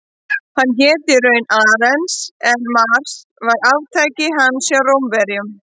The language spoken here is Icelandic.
Hann hét raunar Ares en Mars var arftaki hans hjá Rómverjum.